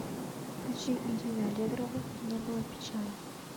включи ирина аллегрова не было печали